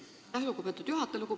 Aitäh, lugupeetud juhataja!